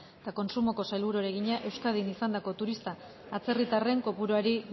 eta kontsumoko sailburuari egina euskadin izandako turista atzerritarren kopuruari